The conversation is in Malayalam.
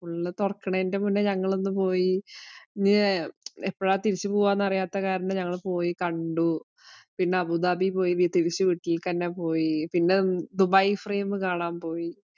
full തൊറക്കണേന്‍റെ മുന്നേ ഞങ്ങളൊന്നു പോയി. ഇനി എപ്പഴാ തിരിച്ചു പോകുന്നേ എന്നറിയാത്തത് കാരണം ഞങ്ങള് പോയി കണ്ടു. പിന്നെ അബുദാബി പോയി പിന്നെ ദുബായ് frame കാണാന്‍ പോയി.